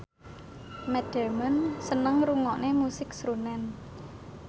Matt Damon seneng ngrungokne musik srunen